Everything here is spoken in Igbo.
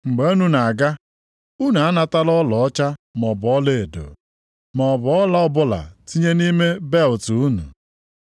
“Mgbe unu na-aga, unu anatala ọlaọcha maọbụ ọlaedo, maọbụ ọla ọbụla tinye nʼime belịt unu.